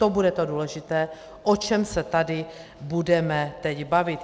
To bude to důležité, o čem se tady budeme teď bavit.